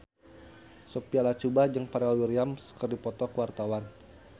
Sophia Latjuba jeung Pharrell Williams keur dipoto ku wartawan